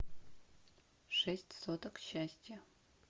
шесть соток счастья